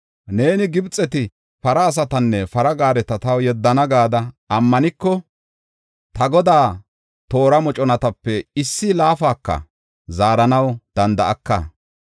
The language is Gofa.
Neeni, ‘Gibxeti para asatanne para gaareta taw yeddana’ gada ammaniko, ta godaa toora moconatape issi laafaka zaaranaw danda7aka.